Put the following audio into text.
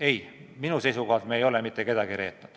Ei, minu seisukohalt me ei ole mitte kedagi reetnud.